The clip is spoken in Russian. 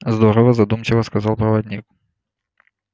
здорово задумчиво сказал проводник